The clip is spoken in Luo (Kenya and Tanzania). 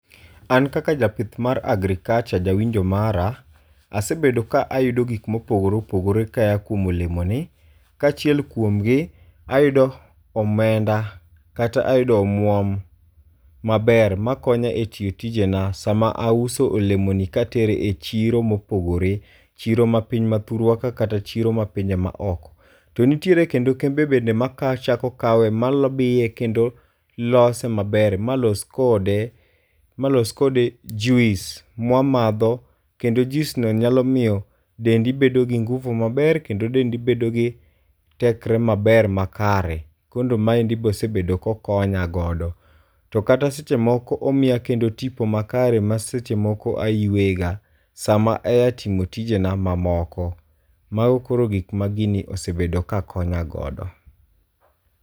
An kaka japith mar agriculture jawinjo mara asebedo ka ayudo gik mopogore opogore ka ya kuom olemo ni. Kachiel kuomgi ayudo omenda kata ayudo omuom maber makonya e tiyo tijena. Sama auso olemoni katere e chiro mopogore. Chiro mapiny mathurwa ka kata chiro mapinje ma oko. To nitiere kendo kembe bende ma kawe chako kawe mabiye kendo lose maber ma los kode ma los kode juice ma wamadho kendo juice no nyalomiyo dendi bendo gi nguvu maber kendo dendi bedo gi tekre maber makare. Kor maendi bende osebedo kokonyagodo. To kata seche moko omiya kendo tipo makare ma seche moko ayueye ga sama aye timo tijena mamoko. Mago koro gik magini osebedo ka konya godo.